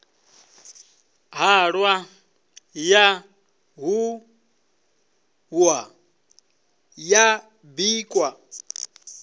ṱhahwa ya ṱhuhwa ya bikwa